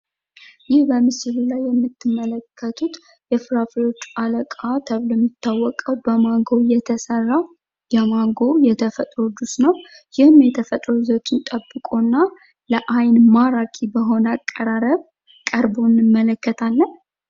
ይህ በምስሉ ላይ የምትመለከቱት የፍራፍሬዎች አለቃ ተብሎ የሚታወቀው በማጎ የተሰራ ማንጎ የተፈጥሮ ጁስ ነው። ይህም የተፈጥሮ ይዘቱን ጠብቆና ለአይን ማራኪ በሆነ አቀራረብ ቀርቦ እንመለከታለን።